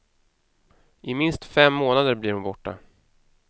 I minst fem månader blir hon borta.